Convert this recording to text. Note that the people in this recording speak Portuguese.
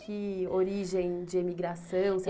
Que origem de emigração?